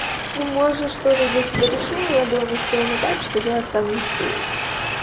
ну может что-то для себя решу но я была настроена так что я останусь здесь